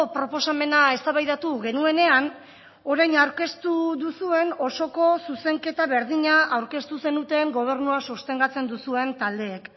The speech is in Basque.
proposamena eztabaidatu genuenean orain aurkeztu duzuen osoko zuzenketa berdina aurkeztu zenuten gobernua sostengatzen duzuen taldeek